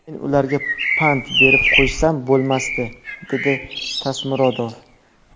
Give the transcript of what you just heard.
Men ularga pand berib qo‘ysam bo‘lmasdi”, – dedi Tasmurodov.